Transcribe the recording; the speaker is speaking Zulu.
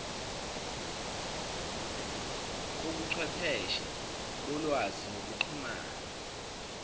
kobuchwepheshe bolwazi nokuxhumana